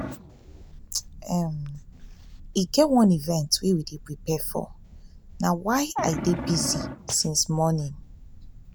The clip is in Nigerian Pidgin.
um e get one event wey we dey prepare for na why um i dey busy since morning um